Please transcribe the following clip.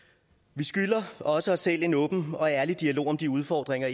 vi skylder også os selv en åben og ærlig dialog om de udfordringer